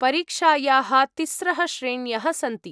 परीक्षायाः तिस्रः श्रेण्यः सन्ति।